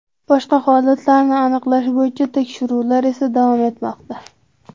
Boshqa holatlarni aniqlash bo‘yicha tekshiruvlar esa davom etmoqda.